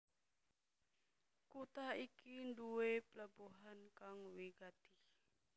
Kutha iki nduwé pelabuhan kang wigati